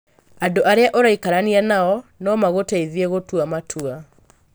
Andũ arĩa ũraikarania nao no magũteithie gũtua matua.